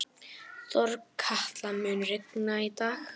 Þorkatla, mun rigna í dag?